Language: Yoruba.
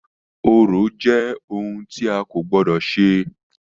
Orò jẹ́ ohun tì a kò gbọdọ̀ ṣe.